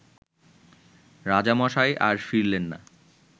রাজামশাই আর ফিরলেন না